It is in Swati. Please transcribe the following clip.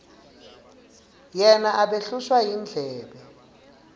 yena abehlushwa yindlebe